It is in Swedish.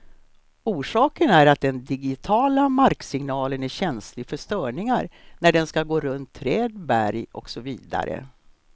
Orsaken är att den digitiala marksignalen är känslig för störningar när den skall gå runt träd, berg och så vidare.